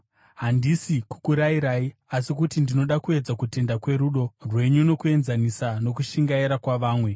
Handisi kukurayirai, asi kuti ndinoda kuedza kutendeka kwerudo rwenyu nokukuenzanisa nokushingaira kwavamwe.